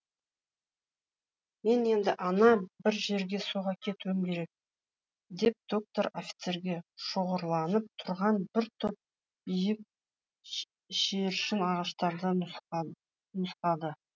мен енді ана бір жерге соға кетуім керек деп доктор офицерге шоғырланып тұрған бір топ биік шегіршін ағаштарын нұсқады